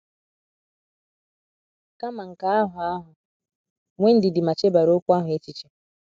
Kama nke ahụ ahụ, nwee ndidi ma chebara okwu ahụ echiche.